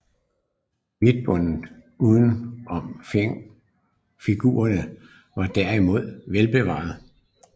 Hvidtebunden uden om figurerne var derimod velbevaret